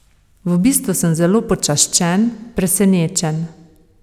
V bistvu sem zelo počaščen, presenečen.